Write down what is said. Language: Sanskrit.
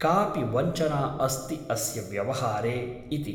कापि वञ्चना अस्ति अस्य व्यवहारे ' इति ।